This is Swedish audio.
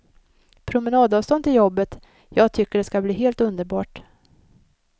Promenadavstånd till jobbet, jag tycker det ska bli helt underbart.